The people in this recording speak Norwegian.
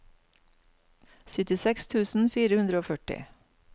syttiseks tusen fire hundre og førti